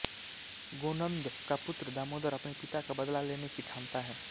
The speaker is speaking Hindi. गोनन्द का पुत्र दामोदर अपने पिता का बदला लेने की ठानता है